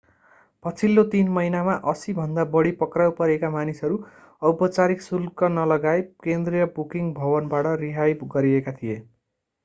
पछिल्लो 3 महिनामा 80 भन्दा बढी पक्राउ परेका मानिसहरू औपचारिक शुल्क नलगाई केन्द्रीय बुकिङ भवनबाट रिहाई गरिएका थिए